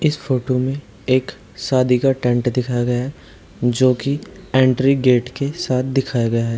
इस फोटो में एक शादी का टेंट दिखाया गया है जो की एंट्री गेट के साथ दिखाया गया है।